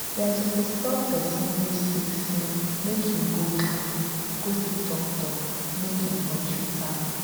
dem suppose tell person wey sick say make im go clinic go see doctor make im for treat am